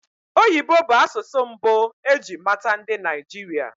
Oyibo bụ asụsụ mbụ eji mata ndị Naịjirịa